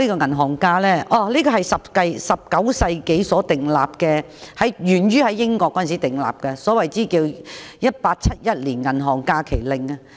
銀行假期是在19世紀時訂立的，源自英國的《1871年銀行假期法令》。